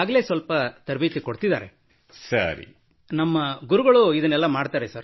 ಇದರಿಂದಾಗಿ ನಮಗೆ ಹೊರಗಡೆ ಭಾಗವಹಿಸಲು ಅವಕಾಶ ದೊರೆಯುತ್ತದೆ so that we get opportunity to participate outside